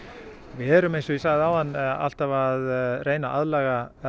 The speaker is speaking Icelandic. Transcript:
við erum alltaf að reyna að aðlaga